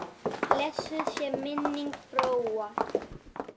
Blessuð sé minning Bróa.